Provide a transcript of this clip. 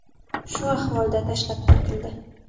Shu ahvolda tashlab ketildi.